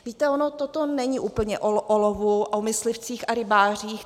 Víte, ono toto není úplně o olovu, o myslivcích a rybářích.